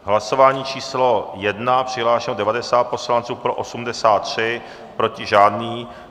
Hlasování číslo 1. Přihlášeno 90 poslanců, pro 83, proti žádný.